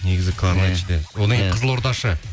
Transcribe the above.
негізі кларнетші де одан кейін қызылордашы